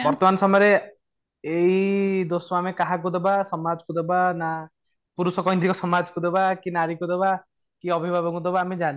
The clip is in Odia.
ବର୍ତ୍ତମାନ ସମୟରେ ଏଇ ଦୋଷ ଆମେ କାହାକୁ ଦବା ସମାଜ କୁ ଦେବା ନା ପୁରୁଷ କେନ୍ଦ୍ରିକ ସମାଜ କୁ ଦେବା ନା କି ନାରୀ କୁ ଦେବା କି ଅଭିଭାବକ କୁ ଦେବା ଆମେ ଜାଣିନେ